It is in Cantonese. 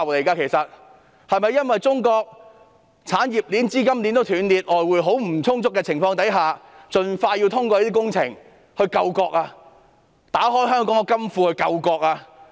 是否因為中國的產業鏈和資金鏈都斷裂，外匯十分不足，所以要盡快通過這些工程，打開香港的金庫來救國？